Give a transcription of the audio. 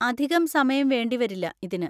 അധികം സമയം വേണ്ടിവരില്ല ഇതിന്.